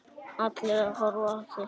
Allir að horfa á þig.